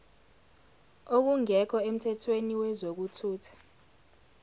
okungekho emthethweni kwezokuthutha